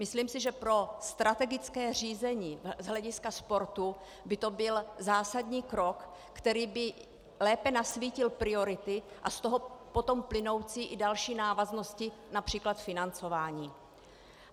Myslím si, že pro strategické řízení z hlediska sportu by to byl zásadní krok, který by lépe nasvítil priority a z toho potom plynoucí i další návaznosti, například financování.